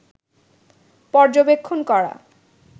পর্যবেক্ষণ করা